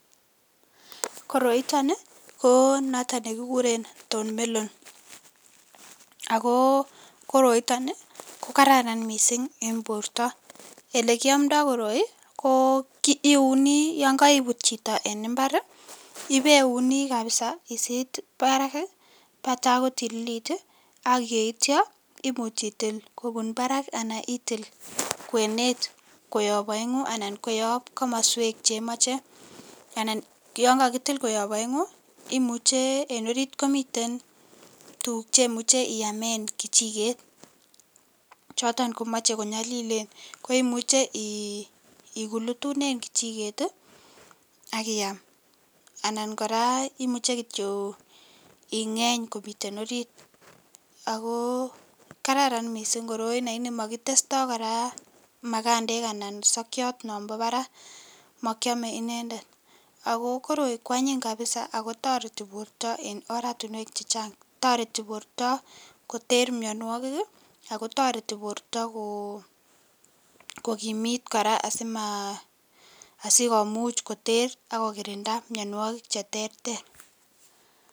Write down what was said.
Koroiton ii konoton nekikuren horned melon ako koroiton ii kokararan missing' en borto elekiyomdo koroi ko iuni yon koibut chito en imbar ii ibeuni kabisa isit ii barak taa kotililit ii, ak yeitio imuch itil kobun barak ii anan itil kwenet koyob oengu anan koyob komoswek chemoche anan yon kakitil koyob oengu imuche en orit komiten tuguk chemuche iyamen kijiket choton komoe konyolilen imuche ikulutunen kijiket ii ak iaam anan koraa imuche kityo ingeny komiten orit , ako kararan missing' koroi lakini[cs[ mokitesto majabdej anan kosokiot nombo barak mokiome inendet , ako koroi kwanyin kabisa ako toreti borto en oratinwek chechang , toreti borto koter mionuokik ii akotoreti borto kokimit koraa asikomuch koter ak kokirinda mionuokik cheterter.